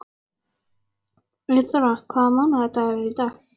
Eyþóra, hvaða mánaðardagur er í dag?